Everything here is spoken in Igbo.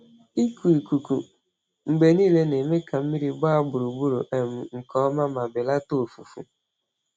Ịkụ ikuku mgbe niile na-eme ka mmiri gbaa gburugburu um nke ọma ma belata ọfụfụ.